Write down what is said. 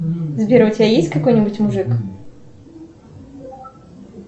сбер а у тебя есть какой нибудь мужик